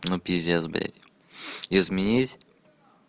ну пиздец блядь изменить